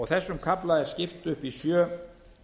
þessum kafla er skipt upp í sjö